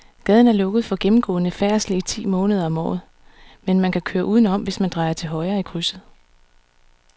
Gaden er lukket for gennemgående færdsel ti måneder om året, men man kan køre udenom, hvis man drejer til højre i krydset.